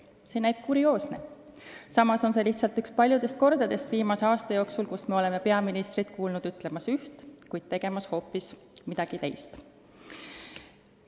See näib kurioosne, samas on see lihtsalt üks paljudest kordadest viimase aasta jooksul, kus me oleme peaministrit kuulnud ütlemas üht, kuid näinud tegemas hoopis midagi teist.